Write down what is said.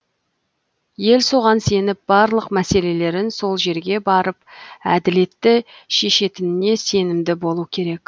ел соған сеніп барлық мәселелерін сол жерге барып әділетті шешетініне сенімді болуы керек